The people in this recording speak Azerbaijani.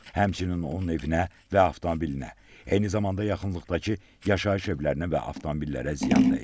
Həmçinin onun evinə və avtomobilinə, eyni zamanda yaxınlıqdakı yaşayış evlərinə və avtomobillərə ziyan dəyib.